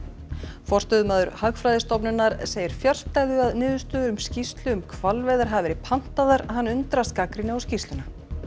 forstöðumaður Hagfræðistofnunar segir fjarstæðu að niðurstöður skýrslu um hvalveiðar hafi verið pantaðar hann undrast gagnrýni á skýrsluna